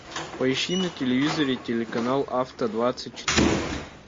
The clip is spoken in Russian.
поищи на телевизоре телеканал авто двадцать четыре